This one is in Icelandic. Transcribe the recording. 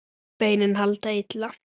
Beinin halda illa.